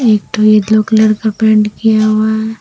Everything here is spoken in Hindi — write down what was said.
एक ठो ये येल्लो कलर का पेंट किया हुआ है।